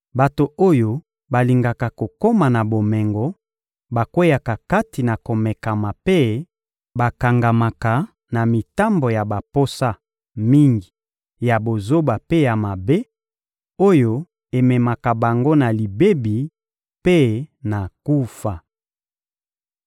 Bato oyo balingaka kokoma na bomengo bakweyaka kati na komekama mpe bakangamaka na mitambo ya baposa mingi ya bozoba mpe ya mabe, oyo ememaka bango na libebi mpe na kufa.